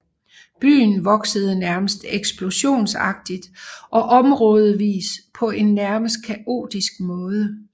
Byen voksede nærmest eksplosionsagtigt og områdevis på en nærmest kaotisk måde